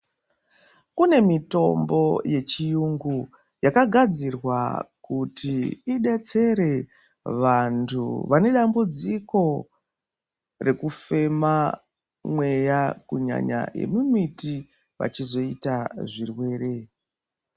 Kune mitombo yechiyungu yakagadzirwa kuti idetsere vantu vane dambudziko rekufema mweya kunyanya yemumiti vachizoita zvirwere.